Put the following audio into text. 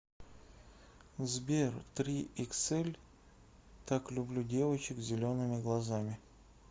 сбер трииксэль так люблю девочек с зелеными глазами